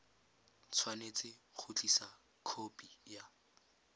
tshwanetse go tlisa khopi ya